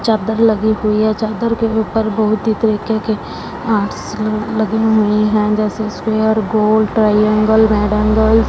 चादर लगी हुई है चादर के ऊपर बहुत ही तरीके के आर्ट्स ल लगी हुई हैं जैसे स्क्वेयर गोल टॉयंगल मैड एंगल ।